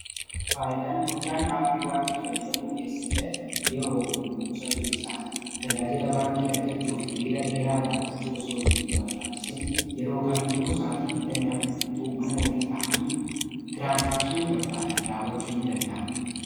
Faayidaan guddaan aappii baankii fayyadamuu keessatti argamuu yeroo fi humnaa qusachuu kessaati tajaajiilaa baankii argachuuf hiriira dheeraa dhaabachuu osoo hin barbaachisin yeroo kamiyyuu saatii 24 buutuu manaa ofii taayanii tiraanisjaakshinii barbaadan raawwachuu ni danda'amaa.